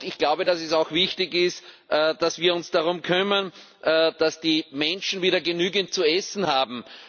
Ich glaube, dass es auch wichtig ist, dass wir uns darum kümmern, dass die Menschen wieder genügend zu essen haben.